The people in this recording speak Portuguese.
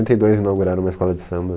e dois inauguraram uma escola de samba.